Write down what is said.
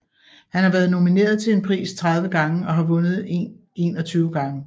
Han har været nomineret til en pris 30 gange og har vundet en 21 gange